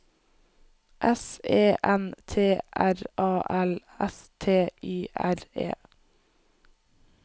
S E N T R A L S T Y R E